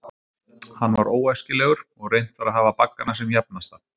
Hann var óæskilegur, og reynt var að hafa baggana sem jafnasta.